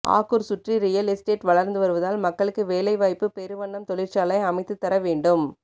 ஆக்கூர் சூற்றி real estate வளர்ந்து வருவதால் மக்களுக்கு வேலைவைப்பு பெருவண்ணம் தெழிற்சாலை அமைத்து தரவேன்ண்டும்